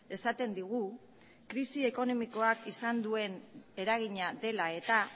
esaten digu krisi ekonomikoak izan duen eragina dela eta